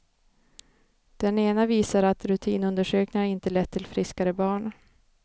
Den ena visar att rutinundersökningar inte lett till friskare barn.